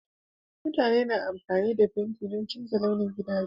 Mutane suna amfani da fenti don canza launin gidajensu